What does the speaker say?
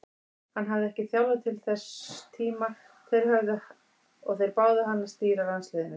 Hann hafði ekki þjálfað til þess tíma og þeir báðu hann að stýra landsliðinu.